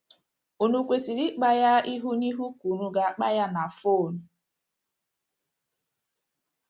Ùnu kwesịrị ịkpa ya ihu na ihu ka ùnu ga - akpa ya na fon?